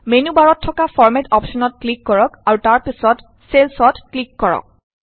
menu বাৰত থকা format অপশ্যনত ক্লিক কৰক আৰু তাৰ পিছত চেলচত ক্লিক কৰক